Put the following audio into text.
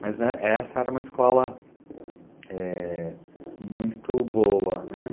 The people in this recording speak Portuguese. Mas essa era uma escola muito boa, né?